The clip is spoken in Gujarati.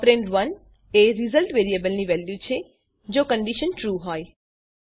ઓપરેન્ડ ૧ એ રિઝલ્ટ વેરીએબલની વેલ્યુ છે જો કંડીશન ટ્રૂ હોય